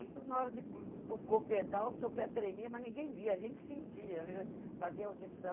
na hora de o pedal, o seu pé tremia, mas ninguém via, a gente sentia, fazia audição.